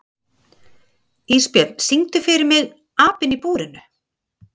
Ísbjörn, syngdu fyrir mig „Apinn í búrinu“.